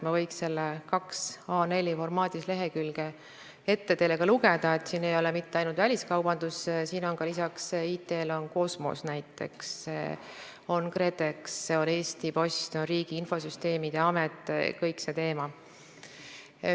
Ma võiks need kaks A4-formaadis lehekülge teile ka ette lugeda, siin ei ole mitte ainult väliskaubandus, siin on lisaks IT-le ka näiteks kosmos, KredEx, Eesti Post, Riigi Infosüsteemide Amet, kõik see teema.